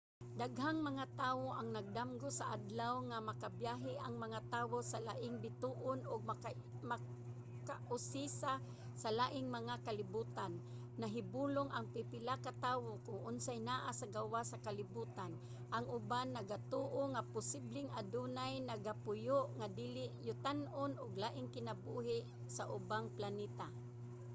daghang mga tawo ang nagdamgo sa adlaw nga makabiyahe ang mga tawo sa laing bituon ug makausisa sa laing mga kalibutan. nahibulong ang pipila ka tawo kon unsay naa sa gawas sa kalibutan ang uban nagatoo nga posibleng adunay nagapuyo nga dili-yutan-on o laing kinabuhi sa ubang planeta